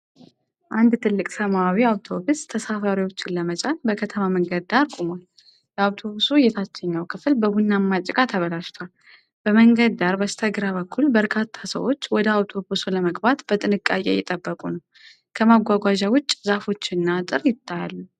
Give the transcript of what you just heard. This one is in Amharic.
አንድ ትልቅ ሰማያዊ አውቶቡስ ተሳፋሪዎችን ለመጫን በከተማ መንገድ ዳር ቆሟል። የአውቶቡሱ የታችኛው ክፍል በቡናማ ጭቃ ተበላሽቷል። በመንገድ ዳር በስተግራ በኩል በርካታ ሰዎች ወደ አውቶቡሱ ለመግባት በጥንቃቄ እየጠበቁ ነው። ከመጓጓዣ ውጭ ዛፎችና አጥር አሉ።